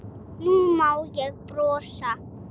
Nú má ég brosa.